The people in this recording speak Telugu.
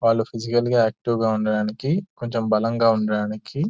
వాళ్ళు ఫిసికల్ గా యాక్టీవ్ గా ఉండడానికి కొంచం బలంగా ఉండడానికి.